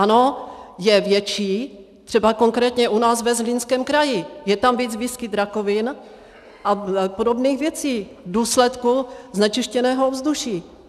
Ano, je větší, třeba konkrétně u nás ve Zlínském kraji, je tam víc výskyt rakovin a podobných věcí v důsledku znečištěného ovzduší.